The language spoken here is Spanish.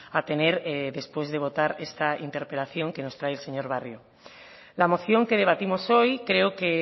a tener después de votar esta interpelación que nos trae el señor barrio la moción que debatimos hoy creo que